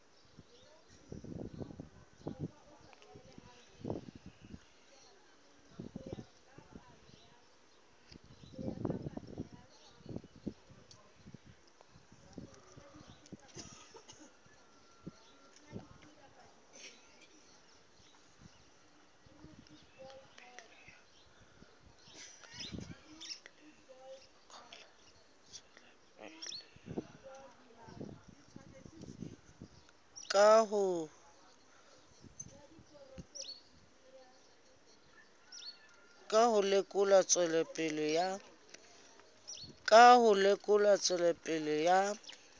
ka ho lekola tswelopele ya